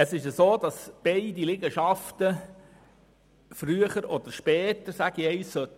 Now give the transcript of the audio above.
Das Ziel ist es, beide Liegenschaften früher oder später zu verkaufen.